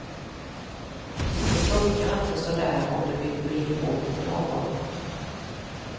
Det funkar inte så där om du vill bli ihop med någon.